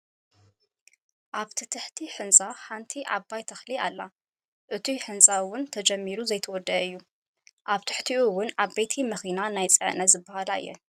ኣብ ትሕቲ ህንፃ ሓንቲ ዓባይ ተክሊ ኣላ እቱይ ህንፃ እውን ተጀሚሩ ዘይተወደአ እዩ። ኣብ ትሒትኡ እውን ዓበይቲ መኪና ናይ ፅዕነት ዝብሃላ እየን።